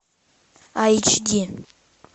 айч ди